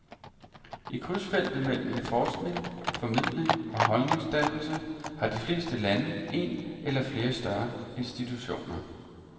I krydsfeltet mellem forskning, formidling og holdningsdannelse har de fleste lande en eller flere større institutioner.